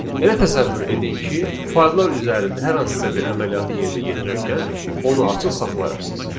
Elə təsəvvür edin ki, fayllar üzərində hər hansısa bir əməliyyatı yerinə yetirərkən onu açıq saxlayırsız.